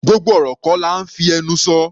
Gbogbo ọ̀rọ̀ kọ́ là ńfí ẹnu sọ.